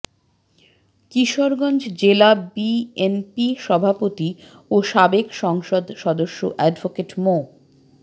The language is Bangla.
কিশোরগঞ্জ জেলা বিএনপি সভাপতি ও সাবেক সংসদ সদস্য অ্যাডভোকেট মো